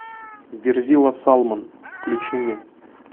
верзила салмон включи мне